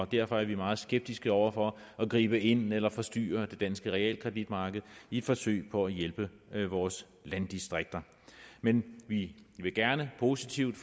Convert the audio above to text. derfor er vi meget skeptiske over for at gribe ind eller forstyrre det danske realkreditmarked i et forsøg på at hjælpe vores landdistrikter men vi vil gerne positivt